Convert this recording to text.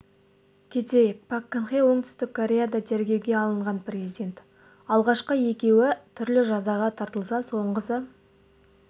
кетейік пак кын хе оңтүстік кореяда тергеуге алынған президент алғашқы екеуі түрлі жазаға тартылса соңғысы